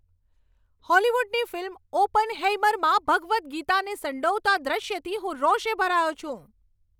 હોલિવૂડની film "ઓપનહેઇમર"માં ભગવદ ગીતાને સંડોવતા દૃશ્યથી હું રોષે ભરાયો છું.